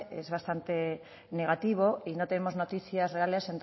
es bastante negativo y no tenemos noticias reales